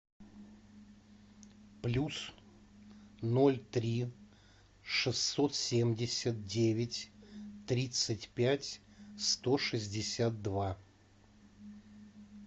плюс ноль три шестьсот семьдесят девять тридцать пять сто шестьдесят два